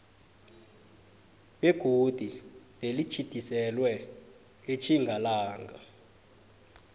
begodu nelitjhidiselwe etjingalanga